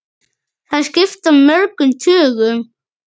Þær skipta mörgum tugum!